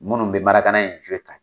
Munnu be marakana in